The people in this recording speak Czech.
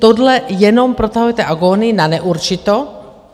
Tohle jenom protahujete agonii na neurčito.